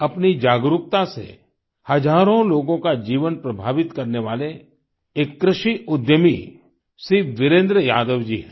अपनी जागरूकता से हजारों लोगों का जीवन प्रभावित करने वाले एक कृषि उद्यमी श्री वीरेन्द्र यादव जी हैं